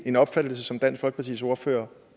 en opfattelse som dansk folkepartis ordfører